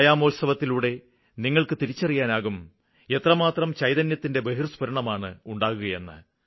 വ്യായാമോത്സവത്തിലൂടെ നിങ്ങള്ക്ക് തിരിച്ചറിയാനാകും എത്രമാത്രം ചൈതന്യത്തിന്റെ ബഹിര്സ്പുരണമാണ് ഉണ്ടാകുകയെന്ന്